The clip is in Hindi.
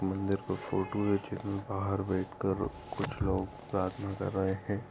मंदिर पर फोटो रखी-- बाहर बैठ कर कुछ लोग प्रार्थना कर रहे है।